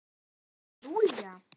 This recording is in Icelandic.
Til Lúlla?